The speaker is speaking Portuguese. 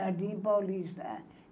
Jardim Paulista.